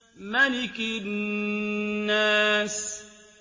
مَلِكِ النَّاسِ